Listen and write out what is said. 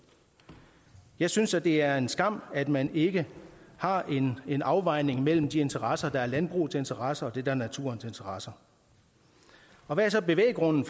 jeg synes at det er en skam at man ikke har en afvejning mellem de interesser der er landbrugets interesser og det der er naturens interesser og hvad er så bevæggrunden